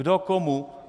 Kdo komu?